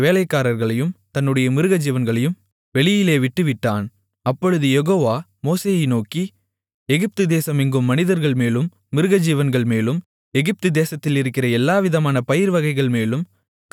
அப்பொழுது யெகோவா மோசேயை நோக்கி எகிப்து தேசம் எங்கும் மனிதர்கள்மேலும் மிருகஜீவன்கள்மேலும் எகிப்து தேசத்திலிருக்கிற எல்லாவிதமான பயிர் வகைகள்மேலும் கல்மழை பெய்ய உன்னுடைய கையை வானத்திற்கு நேராக நீட்டு என்றார்